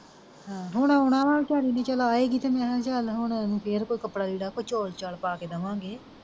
ਹਾਂ ਹੁਣ ਆਉਣਾ ਵਾ ਵੀਚਾਰਿ ਨੇ ਚਲ ਆਏਗੀ ਤੇ ਮੈਂ ਕਿਹਾ ਚਲ ਹੁਣ ਫਿਰ ਕੋਈ ਕਪੜਾ ਦੇਦਾਂ ਕੋਈ ਚੋਲ ਚਾਲ ਪਾ ਕੇ ਦਵਾਂਗੇ।